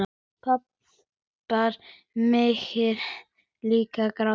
Pabbar mega líka gráta.